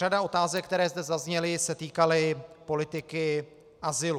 Řada otázek, které zde zazněly, se týkaly politiky azylu.